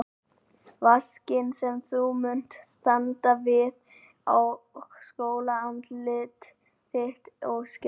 Vaskinn sem þú munt standa við og skola andlit þitt og skegg.